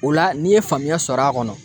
O la n'i ye faamuya sɔrɔ a kɔnɔ